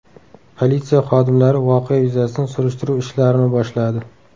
Politsiya xodimlari voqea yuzasidan surishtiruv ishlarini boshladi.